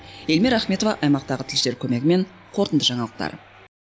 эльмира ахметова аймақтағы тілшілер көмегімен қорытынды жаңалықтар